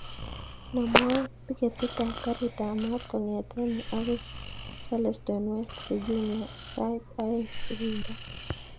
Namwan tiketit ab garit ab maat kongeten yuu akoi charleston west virginia sait oeing subui raa